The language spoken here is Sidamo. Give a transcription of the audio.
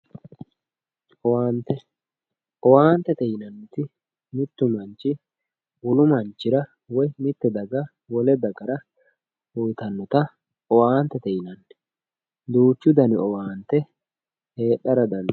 owaante owaantete yinanniti mittu manchi wolu manchira woyi mitte daga wole dagara uyiitannota owaantete yinanni duuchu dani owaante heedhara dandiitanno